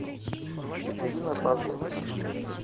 екатерина фазулина